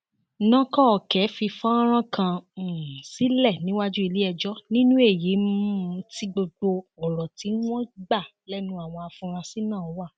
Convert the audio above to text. nọkọkẹ fi fọnrán kan um sílẹ níwájú iléẹjọ nínú èyí um tí gbogbo ọrọ tí wọn gbà lẹnu àwọn afurasí náà wà